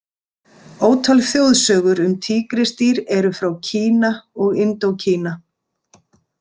Ótal þjóðsögur um tígrisdýr eru frá Kína og Indókína.